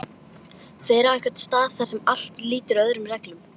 Fer á einhvern stað þar sem allt lýtur öðrum reglum.